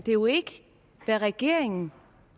er jo ikke hvad regeringen